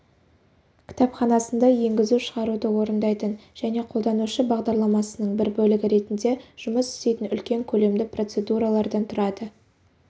кітапханасында енгізу-шығаруды орындайтын және қолданушы бағдарламасының бір бөлігі ретінде жұмыс істейтін үлкен көлемді процедуралардан тұрады